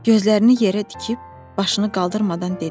Gözlərini yerə tikib, başını qaldırmadan dedi: